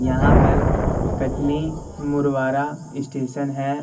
यहां पर कटनी मुरवारा स्टेशन है।